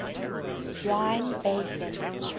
rhine basin